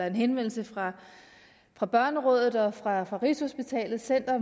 en henvendelse fra fra børnerådet og fra rigshospitalet center